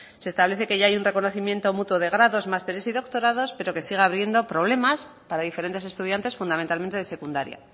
se establece que ya hay un reconocimiento mutuo de grados másteres y doctorados pero que sigue habiendo problemas para diferentes estudiantes fundamentalmente de secundaria